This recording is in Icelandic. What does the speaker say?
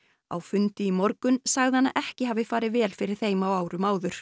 á fundi í morgun sagði hann að ekki hafi farið vel fyrir þeim á árum áður